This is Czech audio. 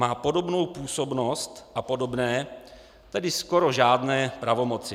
Má podobnou působnost a podobné, tedy skoro žádné pravomoci.